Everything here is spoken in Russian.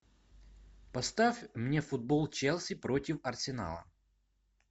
поставь мне футбол челси против арсенала